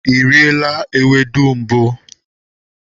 Ị riela ewedu mbụ?